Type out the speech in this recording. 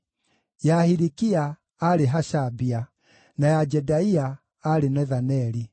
ya Hilikia, aarĩ Hashabia; na ya Jedaia, aarĩ Nethaneli.